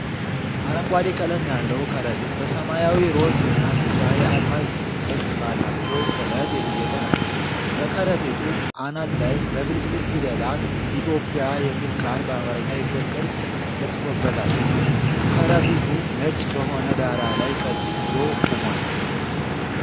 አረንጓዴ ቀለም ያለው ከረጢት በሰማያዊ፣ ሮዝ እና ቢጫ የአልማዝ ቅርጽ ባላቸው ጥለት የተጌጠ ነው። በከረጢቱ አናት ላይ በብልጭልጭ ፊደላት “ETHIOPIA” የሚል ቃል በአማርኛ የፊደል ቅርጽ ተጽፎበታል። ከረጢቱ ነጭ በሆነ ዳራ ላይ ቀጥ ብሎ ቆሟል።